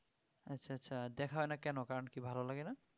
আচ্ছা আচ্ছা দেখা হয়না কেন কারণ কি ভালো লাগেনা?